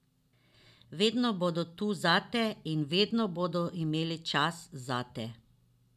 Vedno bodo tu zate in vedno bodo imeli čas zate.